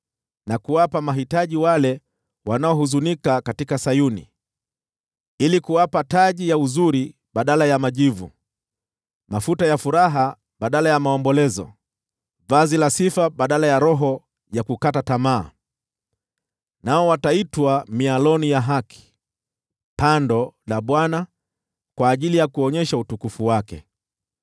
na kuwapa mahitaji wale wanaohuzunika katika Sayuni, ili kuwapa taji ya uzuri badala ya majivu, mafuta ya furaha badala ya maombolezo, vazi la sifa badala ya roho ya kukata tamaa. Nao wataitwa mialoni ya haki, pando la Bwana , ili kuonyesha utukufu wake.